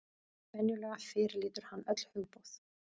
Venjulega fyrirlítur hann öll hugboð.